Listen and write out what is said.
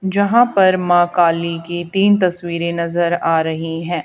जहां पर माँ काली की तीन तस्वीरें नजर आ रहीं हैं।